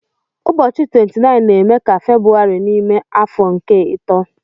Ụbọchị 29 na-eme ka February n'ime afọ nke ito.